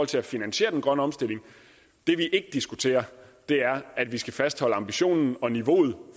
til at finansiere den grønne omstilling det vi ikke diskuterer er at vi skal fastholde ambitionen og niveauet